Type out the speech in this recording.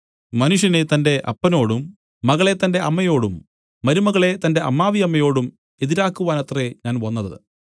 മനുഷ്യനെ തന്റെ അപ്പനോടും മകളെ തന്റെ അമ്മയോടും മരുമകളെ തന്റെ അമ്മാവിയമ്മയോടും എതിരാക്കുവാനത്രേ ഞാൻ വന്നത്